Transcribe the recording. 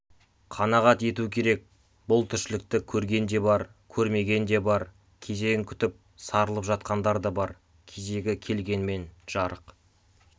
қанағат ету керек бұл тіршілікті көрген де бар көрмеген де бар кезегін күтіп сарылып жатқандар да бар кезегі келгенмен жарық